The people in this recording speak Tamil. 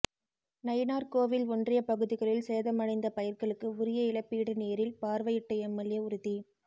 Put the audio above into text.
நயினார்கோவில் ஒன்றிய பகுதிகளில் சேதமடைந்த பயிர்களுக்கு உரிய இழப்பீடு நேரில் பார்வையிட்ட எம்எல்ஏ உறுதி